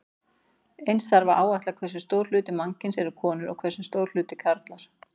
Eins þarf að áætla hversu stór hluti mannkyns eru konur og hversu stór hluti karlar.